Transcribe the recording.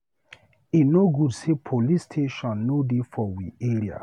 E no good sey police station no dey for we area.